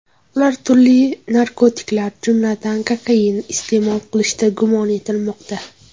Ular turli narkotiklar, jumladan, kokain iste’mol qilishda gumon etilmoqda.